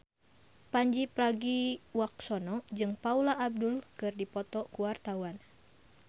Pandji Pragiwaksono jeung Paula Abdul keur dipoto ku wartawan